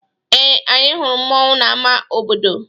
Ee, anyị hụrụ mmọnwụ n'ama obodo.